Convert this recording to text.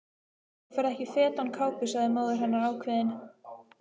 Þú ferð ekki fet án kápu sagði móðir hennar ákveðin.